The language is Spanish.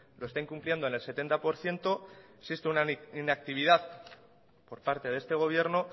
lo está incumpliendo en el setenta por ciento existe una inactividad por parte de este gobierno